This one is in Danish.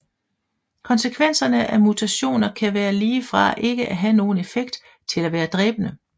Konsekvenserne af mutationer kan være lige fra ikke at have nogen effekt til at være dræbende